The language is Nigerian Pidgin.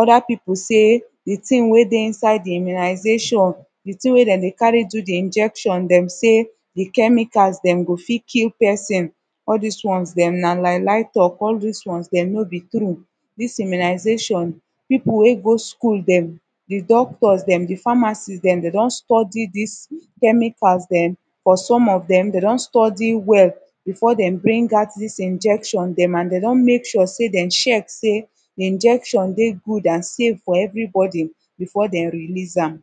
oda pipu sey de tin wey dey inside de immunization de tin wey dem dey cari do de injection dem sey de chemicals dem e go fit kill pesin all dis one dem na lie lie tok all dis ones dem no bi true dis immunization pipu wey go school dem de doctors dem de pharmacist dem dey don study dis chemical dem fo som of dem dem don study well befor dem bring out dis injection dem an dey don mek sure sey dem check sey de injection dey good an safe fo evribodi befor dem release am